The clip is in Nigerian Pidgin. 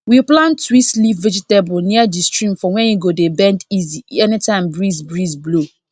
we plant twist leaf vegetable near di stream for where e go dey bend easy anytime breeze breeze blow